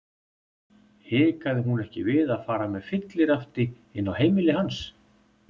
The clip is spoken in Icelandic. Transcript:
Hikaði hún ekki við að fara með fyllirafti inn á heimili hans?